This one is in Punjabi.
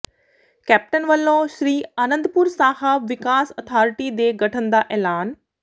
ਕੈਪਟਨ ਵੱਲੋਂ ਸ੍ਰੀ ਆਨੰਦਪੁਰ ਸਾਹਿਬ ਵਿਕਾਸ ਅਥਾਰਟੀ ਦੇ ਗਠਨ ਦਾ ਐਲਾਨ